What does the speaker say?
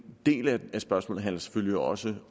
del af spørgsmålet handler selvfølgelig også